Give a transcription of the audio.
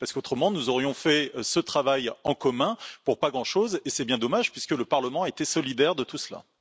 Autrement, nous aurions fait ce travail en commun pour pas grand chose, ce qui serait bien dommage, puisque le Parlement était solidaire de tout cela.